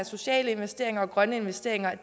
sociale investeringer og grønne investeringer